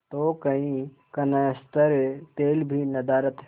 तो कई कनस्तर तेल भी नदारत